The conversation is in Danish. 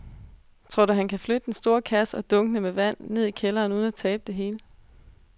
Tror du, at han kan flytte den store kasse og dunkene med vand ned i kælderen uden at tabe det hele?